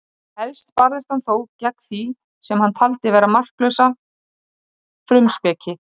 við ármótin heitir áin síðan ölfusá